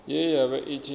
ye ya vha i tshi